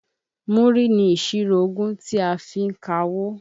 Múrí ni ìṣirò ogún ti a fi ń kawó.